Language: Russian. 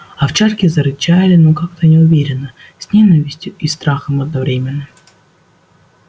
овчарки зарычали но как-то неуверенно с ненавистью и страхом одновременно